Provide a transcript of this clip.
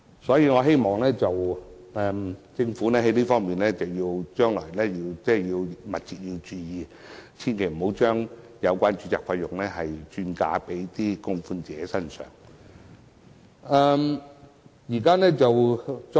所以，我希望政府將來密切注意這方面，別讓有關註冊費轉嫁到供款者身上。